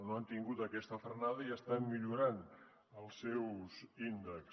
no han tingut aquesta frenada i estan millorant els seus índexs